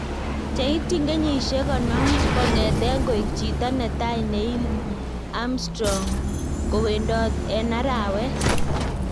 Cheityin kenyisyeek 50 kongeteen koek chito netai Neil Armstrong kowendoot en araweet